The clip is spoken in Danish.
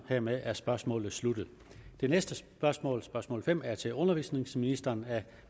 hermed er spørgsmålet sluttet det næste spørgsmål spørgsmål fem er til undervisningsministeren af